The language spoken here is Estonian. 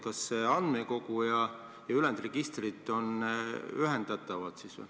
Kas see andmekogu ja ülejäänud registrid on ühendatavad?